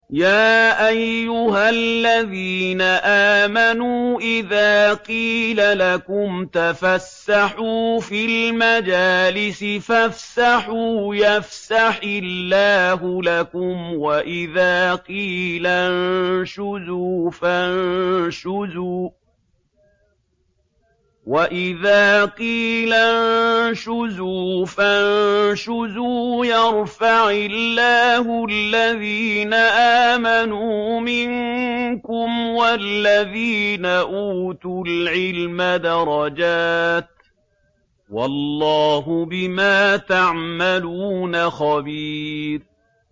يَا أَيُّهَا الَّذِينَ آمَنُوا إِذَا قِيلَ لَكُمْ تَفَسَّحُوا فِي الْمَجَالِسِ فَافْسَحُوا يَفْسَحِ اللَّهُ لَكُمْ ۖ وَإِذَا قِيلَ انشُزُوا فَانشُزُوا يَرْفَعِ اللَّهُ الَّذِينَ آمَنُوا مِنكُمْ وَالَّذِينَ أُوتُوا الْعِلْمَ دَرَجَاتٍ ۚ وَاللَّهُ بِمَا تَعْمَلُونَ خَبِيرٌ